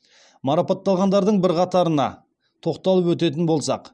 марапатталғандардың бірқатарына тоқталып өтетін болсақ